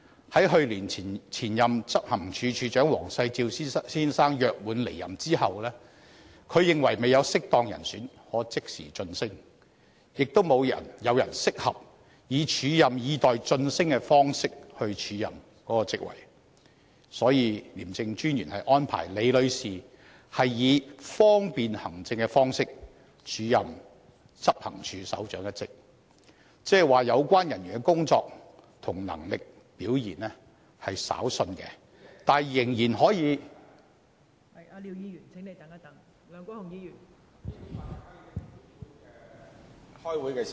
在去年前任執行處首長黃世照先生約滿離任後，他認為未有適當人選可即時晉升，亦未有人適合以"署任以待晉升"的方式署任該職位，因此，廉政專員安排李女士以"方便行政"的方式署任執行處首長一職，即意味有關人員的工作能力和表現稍遜，但仍然可以......